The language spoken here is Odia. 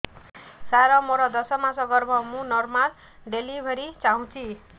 ସାର ମୋର ଦଶ ମାସ ଗର୍ଭ ମୁ ନର୍ମାଲ ଡେଲିଭରୀ ଚାହୁଁଛି